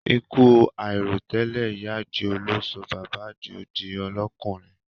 Ikú àìròtẹ́lẹ̀ ìyá àdìó ló sọ bàbá àdìó di ọlọ́kùnrùn